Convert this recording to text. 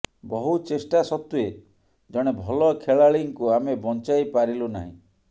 ବହୁ ଚେଷ୍ଟା ସତ୍ବେ ଜଣେ ଭଲ ଖେଳାଳିଙ୍କୁ ଆମେ ବଞ୍ଚାଇ ପାରିଲୁନାହିଁ